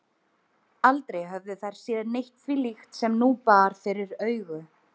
Aldrei höfðu þær séð neitt því líkt sem nú bar fyrir augu.